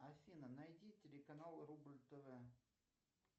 афина найди телеканал рубль тв